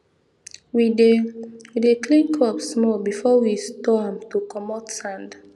we dey we dey clean crop small before we store am to comot sand